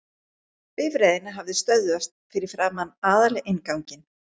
Bifreiðin hafði stöðvast fyrir framan aðalinnganginn.